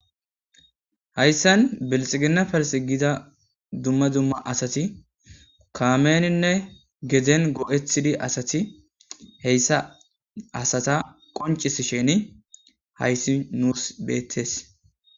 Hayssan bilxigina fers giza dumma dumma asati kaameninne gedzen goo'ethidi asati heyssa asata qoncis sheni hayssi nuus beettees.